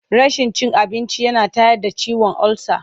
Rashin cin abinci yana tayar da ciwon olsa.